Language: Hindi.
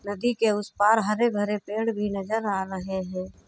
नदी के उस पार हरे-भरे पेड़ भी नजर आ रहे हैं।